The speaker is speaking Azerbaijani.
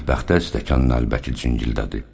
Mətbəxdə stəkan ləbəki cingildədi.